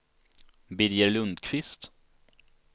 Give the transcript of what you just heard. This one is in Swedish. Birger Lundqvist